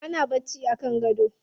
Ana bacci a kan gado.